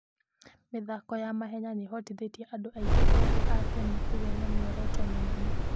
mĩthako ya mahenya nĩ ĩhotithĩtie andũ aingĩ ethĩ a Kenya kũgĩa na mĩoroto mĩnene.